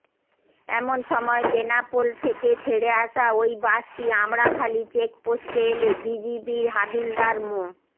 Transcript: এমন সময় বেনাপোল থেকে ছেড়ে আসা ওই বাসটি আমড়াখালি চেকপোস্টে এলে বিজিবির হাবিলদার মো